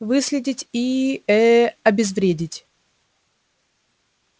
выследить и ээ обезвредить